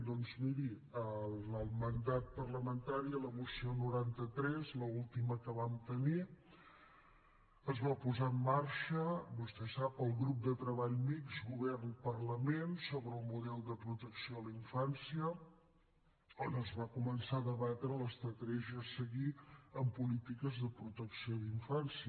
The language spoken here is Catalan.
doncs miri en el mandat parlamentari en la moció noranta tres l’última que vam tenir es va posar en marxa vostè ho sap el grup de treball mixt govern parlament sobre el model de protecció a la infància on es va començar a debatre l’estratègia a seguir en polítiques de protecció d’infància